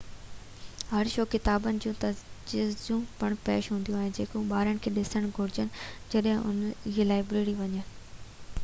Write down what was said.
هر شو ڪتابن جون تجويزون پڻ پيش ڪندو جيڪي ٻارن کي ڏسڻ گهرجن جڏهن اهي لائبريري وڃن